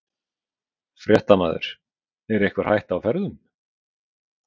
Fréttamaður: Einhver hætta á ferðum?